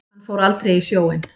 Hann fór aldrei í sjóinn.